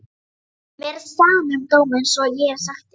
Mér er sama um dóma einsog ég hef sagt þér.